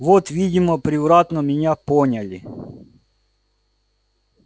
вот видимо превратно меня поняли